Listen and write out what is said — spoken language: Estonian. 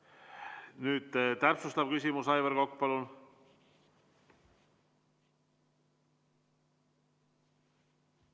Nüüd täpsustav küsimus, Aivar Kokk, palun!